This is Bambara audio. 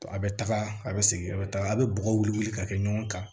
A bɛ taga a bɛ segin a bɛ taga a bɛ bɔgɔ wuli wuli ka kɛ ɲɔgɔn kan